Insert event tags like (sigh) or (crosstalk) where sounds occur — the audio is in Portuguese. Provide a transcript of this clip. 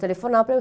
Telefonava (unintelligible)